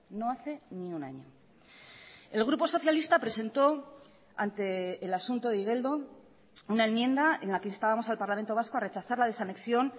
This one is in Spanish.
no hace ni un año el grupo socialista presentó ante el asunto de igeldo una enmienda en la que instabamos al parlamento vasco a rechazar la desanexión